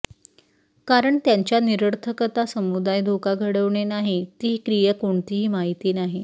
कारण त्यांच्या निरर्थकता समुदाय धोका घडवणे नाही ती क्रिया कोणतीही माहिती आहे